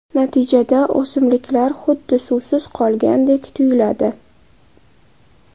Natijada o‘simliklar xuddi suvsiz qolgandek tuyiladi.